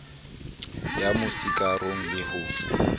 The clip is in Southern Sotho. ya mo sikarong le ho